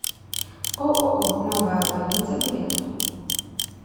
ооо новая больница билет